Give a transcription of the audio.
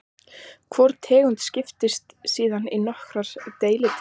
Hvor tegund skiptist síðan í nokkrar deilitegundir.